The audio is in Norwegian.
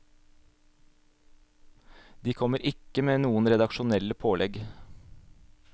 De kommer ikke med noen redaksjonelle pålegg.